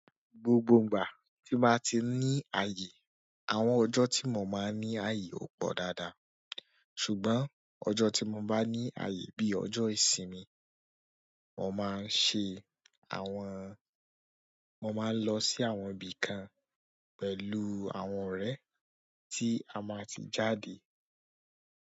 Gbogbo ìgbà tí mo bá ti ní ààyè, àwọn ọjọ́ tí mo máa ní ààyè ò pọ̀ dáadáa. Ṣùgbọ́n ọjọ́ tí mo báá ní ààyè bí ọjọ́ ìsinmi mo máa n ṣe àwọn mo máa ń lọ sí àwọn ibì kan pẹ̀lú àwọn ọrẹ́ tí a máa tí jáde.